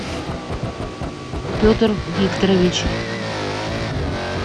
петр викторович